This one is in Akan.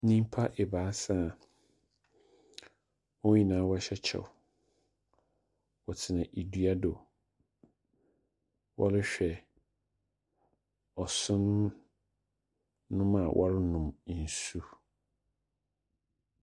Nyimpa ebaasa a hɔn nyinaa wɔhyɛ kyɛw. Wɔtsena dua do. Wɔrehwɛ ɔson nom a wɔronom nsu.